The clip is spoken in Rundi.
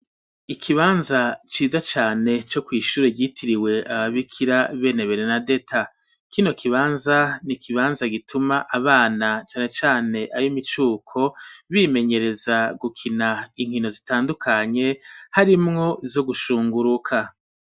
Ikibanza ciza cane co kw'ishure ryitiriwe ababikira bene berenadeta kino kibanza ni ikibanza gituma abana cane cane ab'imicuko bimenyereza gukina inkino zitandukanye harimwo zo gushunguruka.